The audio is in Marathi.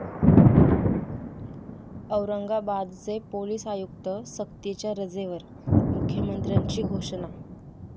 औरंगाबादचे पोलीस आयुक्त सक्तीच्या रजेवर, मुख्यमंत्र्यांची घोषणा